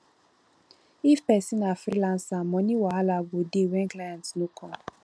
if person na freelancer money wahala go dey when client no come